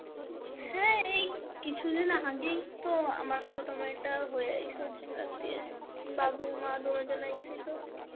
হ্যাঁ এই কিছুদিন আগেই তো আমার ছোট মেয়েটা হয় এইসব দিয়ে, বাবু, মা দুনোজন আইসিল.